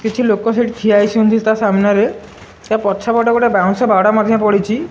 କିଛି ଲୋକ ସେଠି ଠିଆ ହେଇଚନ୍ତି ତା ସାମ୍ନାରେ। ତା ପଛପଟେ ଗୋଟେ ବାଉଁସ ବାଡ଼ ମଧ୍ୟ ପଡ଼ିଚି।